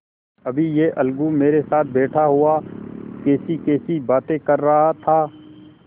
अभी यह अलगू मेरे साथ बैठा हुआ कैसीकैसी बातें कर रहा था